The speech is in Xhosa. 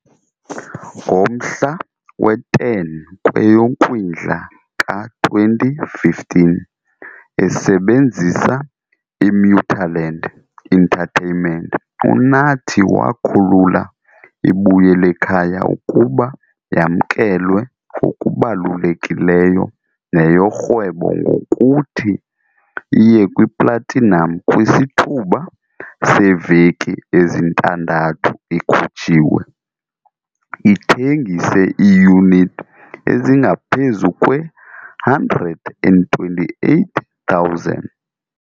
Ngomhla we-10 kweyoKwindla ka-2015, esebenzisa iMuthaland Entertainment, uNathi wakhulula iBuyelekhaya ukuba yamkelwe ngokubalulekileyo neyorhwebo ngokuthi iye kwiplatinam kwisithuba seeveki ezintandathu ikhutshiwe, ithengise iiyunithi ezingaphezu kwe-128,000.